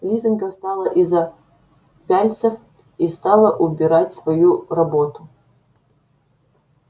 лизанька встала из-за пяльцев и стала убирать свою работу